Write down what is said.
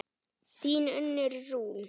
Þín Unnur Rún.